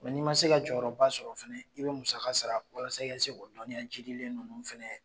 n'i ma se ka jɔyɔrɔba sɔrɔ fana i bɛ musaka sara walasa i ka se ka dɔnniya jiidilen ninnu